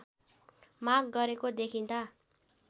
माग गरेको देखिँदा